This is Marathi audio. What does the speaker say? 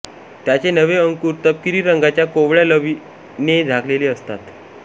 त्याचे नवे अंकुर तपकिरी रंगाच्या कोवळ्या लवीने झाकलेले असतात